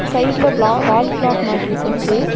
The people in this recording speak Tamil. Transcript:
சைடுல விலா வால் கிளாக் மாட்டி வஸ்ஸுருக்கு.